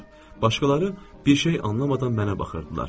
Başqaları bir şey anlamadan mənə baxırdılar.